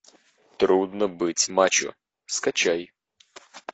трудно быть мачо скачай